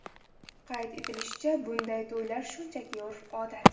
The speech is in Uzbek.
Qayd etilishicha, bunday to‘ylar shunchaki urf-odat.